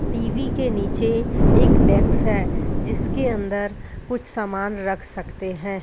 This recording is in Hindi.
टी_वी के नीचे एक डेक्स डेस्क है जिसके अंदर कुछ सामान रख सकते हैं।